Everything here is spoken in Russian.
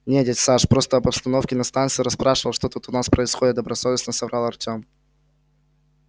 нет дядь саш просто об обстановке на станции расспрашивал что тут у нас происходит добросовестно соврал артем